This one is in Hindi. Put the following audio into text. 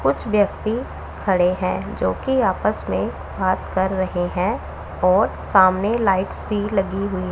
कुछ व्यक्ति खड़े हैं जोकि आपस में बात कर रहे हैं और सामने लाइट्स भी लगी हुई--